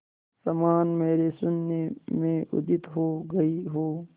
समान मेरे शून्य में उदित हो गई हो